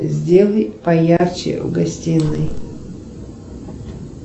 сделай поярче в гостиной